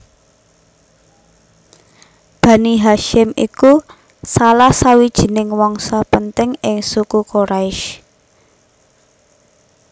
Bani Hasyim iku salah sawijining wangsa penting ing Suku Quraisy